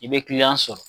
I bɛ kiliyan sɔrɔ